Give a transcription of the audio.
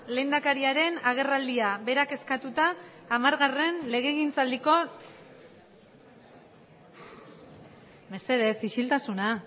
lehendakariaren agerraldia berak eskatuta amargarren legegintzaldiko mesedez isiltasuna